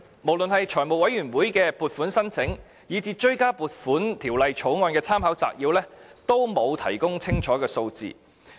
無論是向財委會的撥款申請，以至《條例草案》的立法會參考資料摘要，均沒有提供清楚的數字。